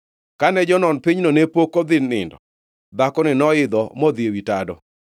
Kane jonon pinygo ne pok odhi nindo, dhakoni noidho modhi ewi tado,